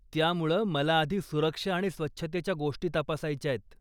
त्यामुळं, मला आधी सुरक्षा आणि स्वच्छतेच्या गोष्टी तपासायच्यात.